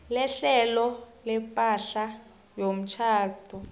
lehlelo lepahla yomtjhado